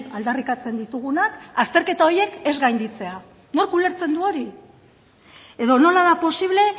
aldarrikatzen ditugunak azterketa horiek ez gainditzea nork ulertzen du hori edo nola da posible